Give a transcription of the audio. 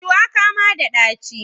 Shuwaka ma da dachi.